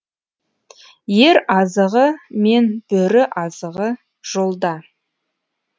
ер азығы мен бөрі азығы жолда